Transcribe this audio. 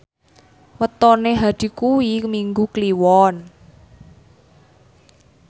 wetone Hadi kuwi Minggu Kliwon